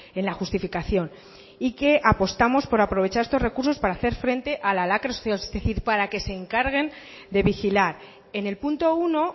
en la justificación y que apostamos por aprovechar estos recursos para hacer frente a la lacra social es decir para que se encarguen de vigilar en el punto uno